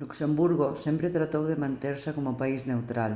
luxemburgo sempre tratou de manterse como país neutral